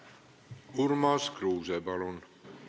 Urmas Kruuse, palun!